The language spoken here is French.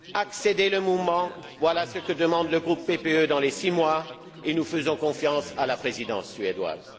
Accélérer le mouvement, voilà ce que demande le groupe PPE dans les six mois et nous faisons confiance à la Présidence suédoise.